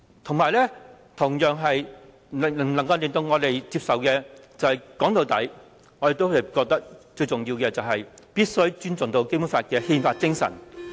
說到底，更令我們無法接受的，也是我們認為最重要的，便是必須尊重《基本法》的憲法精神。